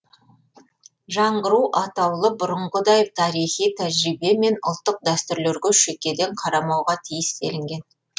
жаңғыру атаулы бұрынғыдай тарихи тәжірибе мен ұлттық дәстүрлерге шекеден қарамауға тиіс делінген